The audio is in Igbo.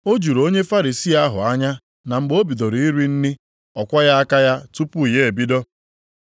O juru onye Farisii ahụ anya na mgbe ọ bidoro iri nri ọ kwọghị aka ya tupu ya ebido.